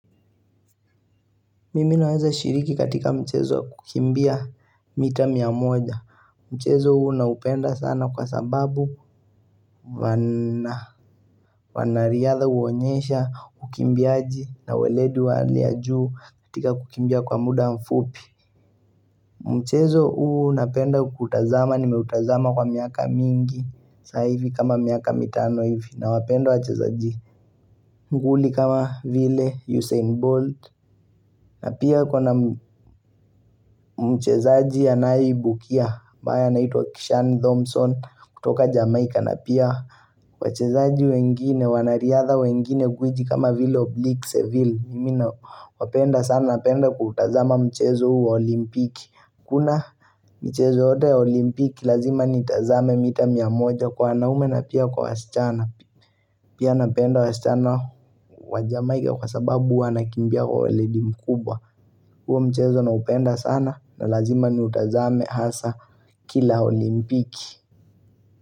Mimi huweza shiriki katika mchezo kukimbia mita mia moja. Mchezo huu naupenda sana kwa sababu wanariadha huonyesha ukimbiaji na weledu wa hali ya juu katika kukimbia kwa muda mfupi. Mchezo huu naupenda kutazama ni meutazama kwa miaka mingi saa hivi kama miaka mitano hivi nawapenda wachezaji. Nguli kama vile Usain Bolt na pia kuna Mchezo huu napenda kutazama nimeutazama kwa miaka mingi saa hivi kama miaka mitano hivi na wapenda wachezaji. Mchezaji wengine wanariadha wengine guiji kama vile Oblique Seville Mimi nawapenda sana napenda kutazama mchezo huu wa olimpiki Kuna mchezo yote olimpiki lazima nitazame mita mia moja kwa wanaume na pia kwa wasichana Pia napenda wasichana wa jamaika kwa sababu wanakimbia kwa LED mkubwa huo mchezo naupenda sana na lazima ni utazame hasa kila olimpiki.